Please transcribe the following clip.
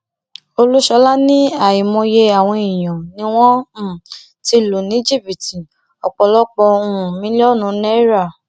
olúṣọlá ní àìmọye àwọn èèyàn ni wọn um ti lù ní jìbìtì ọpọlọpọ um mílíọnù náírà